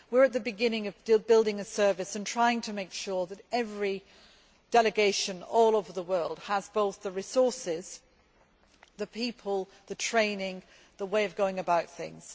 We are at the beginning of building a service and trying to make sure that every delegation all over the world has the resources, the people, the training and the way of going about things.